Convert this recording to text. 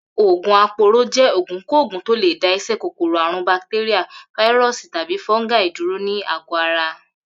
Ògùn apooro jé̩ ògùnkógùn tó lè dá is̩é̩ kòkòrò àrùn batéríà, fáírò̩sì tàbí fó̩gáì dúró ní àgó̩ ara